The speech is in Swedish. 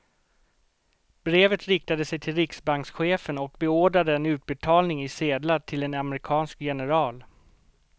Brevet riktade sig till riksbankschefen och beordrade en utbetalning i sedlar till en amerikansk general.